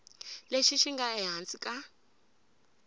lexi xi nga ehansi ka